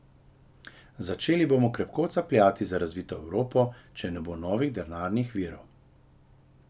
Začeli bomo krepko capljati za razvito Evropo, če ne bo novih denarnih virov.